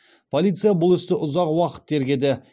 полиция бұл істі ұзақ уақыт тергеді